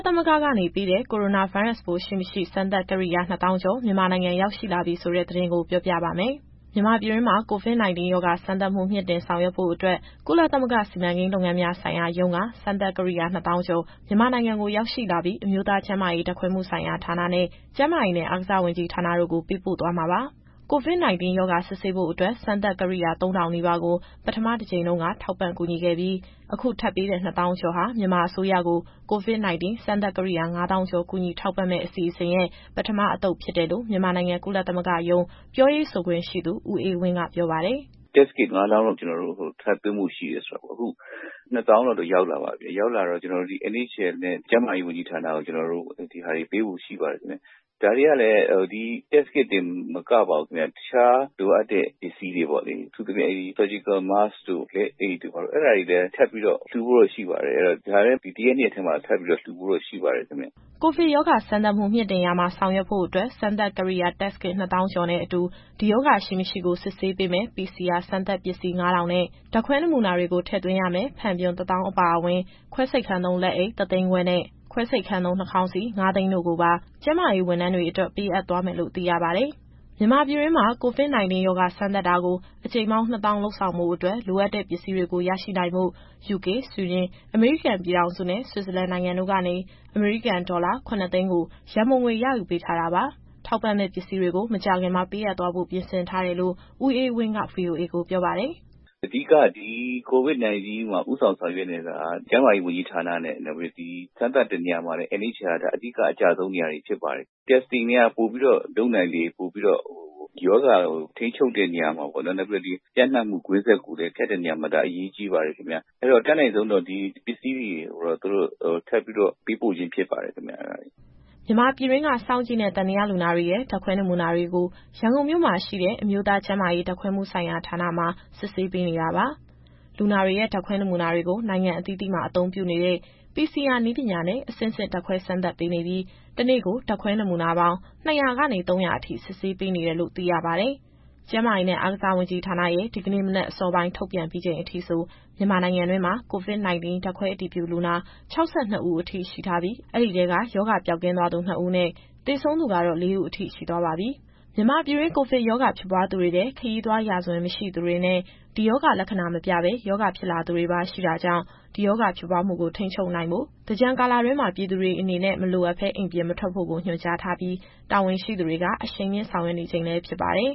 သမဂ္ဂကနေ ပေးတဲ့ ကိုရိုနာဗိုင်းရပ်ရှိမရှိစမ်းသပ်ကိရိယာ နှစ်သောင်းကျော်မြန်မာနိုင်ငံရောက်ရှိလာပြီဆိုတဲ့ သတင်းကို ဗွီအိုအေမြန်မာပိုင်း သတင်းထောက် မစုစုက ပြောပြပါမယ်။ မြန်မာပြည်တွင်း COVID- 19 ရောဂါ စမ်းသပ်မှုမြှင့်တင်ဆောင်ရွက်ဖို့အတွက် ကုလသမဂ္ဂ စီမံကိန်းလုပ်ငန်းများ ဆိုင်ရာရုံး (UNOPS) က စမ်းသပ်ကိရိယာ ၂၀,၀၀၀ ကျော် မြန်မာနိုင်ငံကိုရောက်ရှိလာပြီး အမျိုးသားကျန်းမာရေး ဓာတ်ခွဲမှုဆိုင်ရာဌာန (NHL) နဲ့ ကျန်းမာရေးနဲ့အားကစားဝန်ကြီးဌာန (MOHS) တို့ကို ပေးပို့သွားမှာပါ။ COVID-19 ရောဂါစစ်ဆေးဖို့အတွက် စမ်းသပ်ကိရိယာ ၃,၀၀၀ နီးပါးကို ပထမအကြိမ်တုန်း ထောက်ပံ့ကူညီခဲ့ပြီး အခု ထပ်ပေးတဲ့ ၂၀,၀၀၀ ကျော်ဟာ မြန်မာအစိုးရကို COVID- 19 စမ်းသပ်ကိရိယာ ၅၀,၀၀၀ ကျော် ကူညီထောက်ပံ့မယ့်အစီအစဉ်ရဲ့ ပထမအသုတ်ဖြစ်တယ်လို့ မြန်မာနိုင်ငံကုလသမဂ္ဂရုံး ပြောရေးဆိုခွင့်ရှိသူ ဦးအေးဝင်းက ပြောပါတယ်။ “Test kits ၅၀,၀၀၀ လောက် ထပ်သွင်းဖို့ရှိတယ်ဆိုတာ အခု ၂၀,၀၀၀ လောက်တော့ ရောက်လာပါပြီ။ ရောက်လာတော့ ကျနော်တို့ NHL နဲ့ ကျန်းမာရေးဝန်ကြီးဌာနကို ဒါတွေပေးဖို့ရှိပါတယ်ခင်ဗျ။ ဒါတွေကလည်း ဒီ Test kit တင်မကပါဘူး။ တခြားလိုအပ်တဲ့ ပစ္စည်းတွေပေါ့လေ။ အထူးသဖြင့် Surgical Mask တို့ လက်အိတ်တို့ အဲဒါတွေလည်း ထပ်ပြီးတော့ လှူဖို့ရှိပါတယ်။ ဒါတွေလည်း ဒီ တရက် နှစ်ရက်အတွင်းမှာ လှူဖို့ရှိပါတယ်ခင်ဗျ။” ကိုဗစ်ရောဂါ စမ်းသပ်မှုမြှင့်တင်ရာမှာ ဆောင်ရွက်ဖို့အတွက် စမ်းသပ်ကိရိယာ Test kit ၂၀,၀၀၀ ကျော်နဲ့အတူ ဒီရောဂါရှိ၊ မရှိကို စစ်ဆေးပေးမယ့် PCR စမ်းသပ်ပစ္စည်း ၅,၀၀၀ နဲ့ ဓာတ်ခွဲနမူနာတွေကို ထည့်သွင်းရမယ့် ဖန်ပြွန် ၁၀,၀၀၀ အပါအဝင်၊ ခွဲစိတ်ခန်းသုံးလက်အိတ် ၁၅၀,၀၀၀ နဲ့ ခွဲစိတ်ခန်းသုံးနှာခေါင်းစည်း ၅၀၀,၀၀၀ တို့ကိုပါ ကျန်းမာရေးဝန်ထမ်းတွေအတွက် ပေးအပ်သွားမယ်လို့ သိရပါတယ်။ မြန်မာပြည်တွင်းမှာ COVID- 19 ရောဂါစမ်းသပ်တာကို အကြိမ်ပေါင်း ၂၀,၀၀၀ လုပ်ဆောင်ဖို့အတွက် လိုအပ်တဲ့ပစ္စည်းတွေကို ရရှိနိုင်ဖို့ ယူကေ၊ ဆွီဒင်၊ အမေရိကန်ပြည်ထောင်စုနဲ့ ဆွစ်ဇာလန်နိုင်ငံတို့ကနေ အမေရိကန်ဒေါ်လာ ၇၀၀,၀၀၀ ကို ရန်ပုံငွေ ရယူပေးထားတာပါ။ ထောက်ပ့မယ့်ပစ္စည်းတွေကို မကြာခင်မှာပေးအပ်သွားဖို့ ပြင်ဆင်ထားတယ်လို့ ဦးအေးဝင်းက ဗွီအိုအေကိုပြောပါတယ်။ “အဓိက က ဒီ COVID- 19 မှာ ဦးဆောင်ဆောင်ရွက်နေတာက ကျန်းမာရေးဝန်ကြီးဌာနဲ့ စမ်းသပ်တဲ့နေရာမှာလည်း NHL က ဒါအဓိက အကျဆုံးနေရာကနေ ဖြစ်ပါတယ်။ Testing တွေက ပိုပြီးတော့လုပ်နိုင်လေလေ ပိုပြီးတော့ ရောဂါထိန်းချုပ်တဲ့နေရာမှာရော နောက်ပြီးတော့ ရောဂါပျံ့နှံ့မှုကွင်းဆက်ကိုလည်း ဖြတ်တဲ့နေရာမှာ ဒါအရေးပါတယ်ခင်ဗျ။ အဲတော့ အတတ်နိုင်ဆုံးတော့ ဒီပစ္စည်းတွေကိုတော့ သူတို့ထပ်ပြီးတော့ ပေးပို့ခြင်းဖြစ်ပါတယ်ခင်ဗျ။” မြန်မာပြည်တွင်းက စောင့်ကြည့်နဲ့ သံသယလူနာတွေရဲ့ ဓာတ်ခွဲနမူနာတွေကို ရန်ကုန်မြို့မှာရှိတဲ့ အမျိုးသားကျန်းမာရေး ဓာတ်ခွဲမှုဆိုင်ရာဌာနမှာ စစ်ဆေးပေးနေတာပါ။ လူနာတွေရဲ့ ဓာတ်ခွဲနမူနာတွေကို နိုင်ငံအသီးသီးမှာ အသုံးပြုနေတဲ့ PCR နည်းပညာနဲ့ အဆင့်ဆင့်ဓာတ်ခွဲစမ်းသပ်ပေးနေပြီး တနေ့ကို ဓာတ်ခွဲနမူနာပေါင်း ၂၀၀ ကနေ ၃၀၀ အထိ စစ်ဆေးပေးနေတယ်လို့ သိရပါတယ်။ ကျန်းမာရေးနဲ့ အားကစားဝန်ကြီးဌာနရဲ့ ဒီကနေ့မနက်အစောပိုင်း ထုန်ပြန်ပြီးချိန်အထိဆို မြန်မာနိုင်ငံတွင်းမှာ COVID- 19 ဓာတ်ခွဲအတည်ပြုလူနာ ၆၂ ဦးအထိ ရှိထားပြီး၊ အဲဒီထဲက ရောဂါပျောက်ကင်းသွားသူ ၂ ဦးနဲ့ သေဆုံးသူကတော့ ၄ ဦးအထိ ရှိသွားပါပြီ။ မြန်မာပြည်တွင်း ကိုဗစ်ရောဂါဖြစ်ပွားသူတွေထဲ ခရီးသွားရာဇဝင်မရှိသူတွေနဲ့ ဒီရောဂါလက္ခဏာမပြပဲ ရောဂါဖြစ်လာသူတွေပါ ရှိတာကြောင့် ဒီရောဂါဖြစ်ပွားမှုထိန်းချုပ်နိုင်ဖို့ကို သင်္ကြန်ကာလတွင်းမှာ ပြည်သူတွေအနေနဲ့ မလိုအပ်ဘဲအိမ်ပြင်မထွက်ဖို့ကို ညွှန်ကြားထားပြီး တာဝန်ရှိသူတွေက အရှိန်မြှင့်ဆောင်ရွက်နေချိန်လည်း ဖြစ်ပါတယ်